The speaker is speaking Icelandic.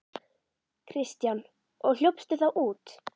Kristján: Og hljópstu þá út?